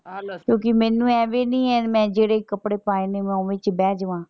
ਕਿਉਂਕਿ ਮੈਨੂੰ ਇਹ ਵੀ ਨਹੀਂ ਹੈ ਕਿਮੇਂ ਜਿਹੜੇ ਕੱਪੜੇ ਪਾਏ ਨੇ ਮੈਂ ਓਵੇਂ ਬਹਿ ਜਾਵਾਂ।